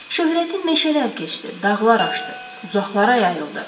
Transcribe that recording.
Şöhrəti meşələr keçdi, dağlar aşdı, uzaqlara yayıldı.